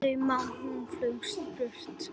Þá má hún fljúga burtu.